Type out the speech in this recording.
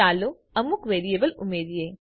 ચાલો અમુક વેરિયેબલ ઉમેરીએ